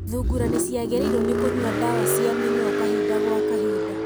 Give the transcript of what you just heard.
Thungura nĩ ciagĩrĩirwo ni kũnyua ndawa cia mĩnyoo kahinda gwa kahinda.